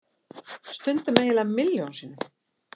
Stundum eiginlega milljón sinnum.